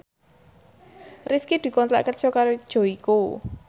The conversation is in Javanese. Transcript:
Rifqi dikontrak kerja karo Joyko